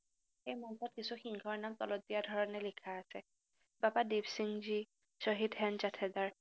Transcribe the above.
সেইমৰ্মত কিছু সিংহৰ নাম তলত দিয়া ধৰণে লিখা আছে, বাবা দিপসিংজী শ্বহীদ হেনজাথেদাৰ,